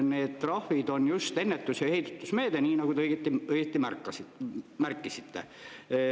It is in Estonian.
Need trahvid on just ennetus‑ ja heidutusmeede, nii nagu te õieti märkisite.